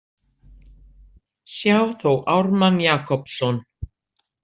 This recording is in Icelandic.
Sjá þó Ármann Jakobsson.